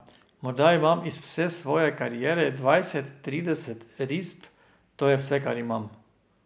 Morda imam iz vse svoje kariere dvajset, trideset risb, to je vse, kar imam.